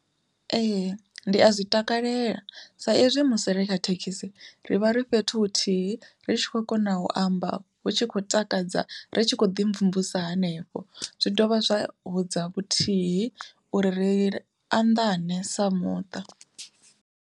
Ee ndi a zwi takalela sa ezwi musi ri kha thekhisi ri vha ri fhethu huthihi ri tshi khou kona u amba hu tshi khou takadza ri tshi khou ḓi mvumvusa hanefho, zwi dovha zwa hudza vhuthihi uri ri anḓane sa muṱa.